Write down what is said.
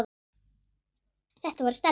Þetta var Stella.